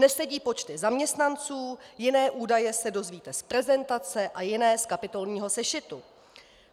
Nesedí počty zaměstnanců, jiné údaje se dozvíte z prezentace a jiné z kapitolního sešitu.